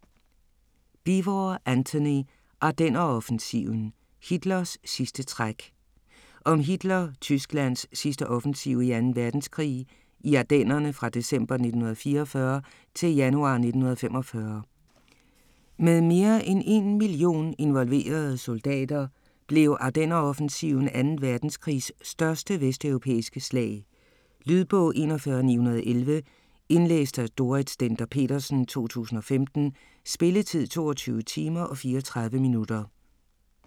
Beevor, Antony: Ardenneroffensiven: Hitlers sidste træk Om Hitler-Tysklands sidste offensiv i 2. verdenskrig, i Ardennerne fra december 1944 til januar 1945. Med mere end 1 million involverede soldater blev Ardenneroffensiven 2. verdenskrigs største vesteuropæiske slag. Lydbog 41911 Indlæst af Dorrit Stender-Petersen, 2015. Spilletid: 22 timer, 34 minutter.